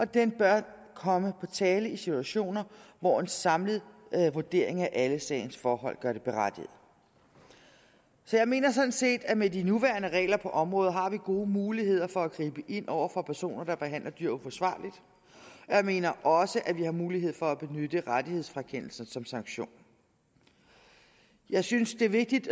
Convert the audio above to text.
den bør komme på tale i situationer hvor en samlet vurdering af alle sagens forhold gør den berettiget så jeg mener sådan set at vi med de nuværende regler på området har gode muligheder for at gribe ind over for personer der behandler dyr forsvarligt jeg mener også at vi har mulighed for at benytte rettighedsfrakendelsen som sanktion jeg synes det er vigtigt